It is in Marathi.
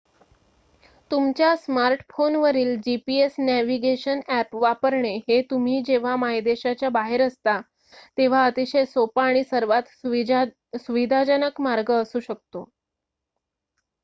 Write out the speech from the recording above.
तुमच्या स्मार्टफोनवरील gps नॅव्हिगेशन ॲप वापरणे हे तुम्ही जेव्हा मायदेशाच्या बाहेर असता तेव्हा अतिशय सोपा आणि सर्वात सुविधाजनक मार्ग असू शकतो